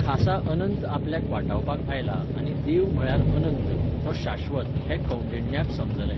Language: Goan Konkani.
खासा अनंत आपल्याक वाटावपाक आयला आनी देव म्हळ्यार अनंत, तो शाश्वत हें कौंडिण्याक समजलें.